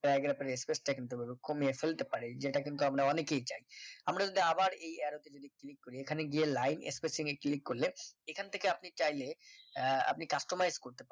paragraph এর space টা কিন্তু ওভাবে কমিয়ে ফেলতে পারি যে টা কিন্তু আমারা অনেকেই চাই আমরা যদি আবার এই arrow তে যদি click করি এখানে গিয়ে লাইন spacing এ click করলে এখান থেকে আপনি চাইলে আহ আপনি customaries করতে পারবেন